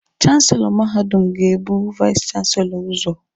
Chanselọ mahadum ga-ebu vais chanselọ ụzọ.